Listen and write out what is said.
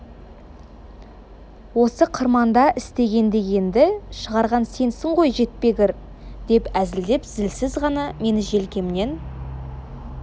осы қырманда істеген дегенді шығарған сенсің ғой жетпегір деп әзілдеп зілсіз ғана мені желкемнен